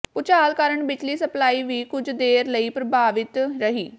ਭੂਚਾਲ ਕਾਰਨ ਬਿਜਲੀ ਸਪਲਾਈ ਵੀ ਕੁਝ ਦੇਰ ਲਈ ਪ੍ਰਭਾਵਿਤ ਰਹੀ